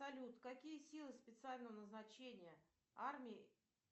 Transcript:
салют какие силы специального назначения армии